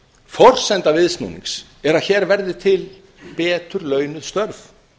forsenda viðsnúnings er að hér verði til betur launuð störf